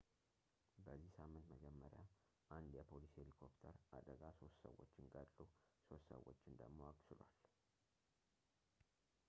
በዚህ ሳምንት መጀመሪያ አንድ የፖሊስ ሄሊኮፕተር አደጋ ሶስት ሰዎችን ገድሎ ሶስት ሰዎችን ደግሞ አቅስሏል